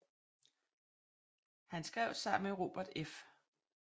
Han skrev sammen med Robert F